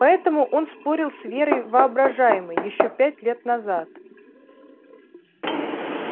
поэтому он спорил с верой воображаемой ещё пять лет назад